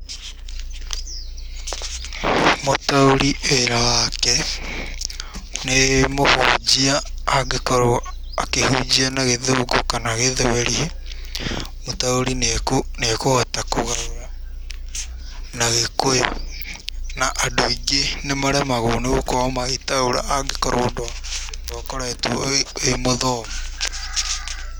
Mũtaũri wĩra wake nĩ mũhunjia angĩkorwo akĩhunjia na gĩthũngũ kana gĩthweri, mũtaũri nĩekũhota gũtaũra na gĩkũyũ, na andũ aingĩ nĩ maremagwo nĩ gũkorwo magĩtaũra angĩkorwo ndwakoretwo wĩ mũthomu.